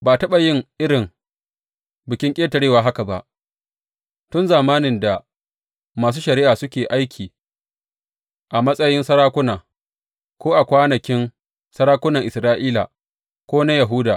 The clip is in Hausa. Ba a taɓa yin irin Bikin Ƙetarewa haka ba, tun zamanin da masu shari’a suke aiki a matsayin sarakuna, ko a kwanakin sarakunan Isra’ila, ko na Yahuda.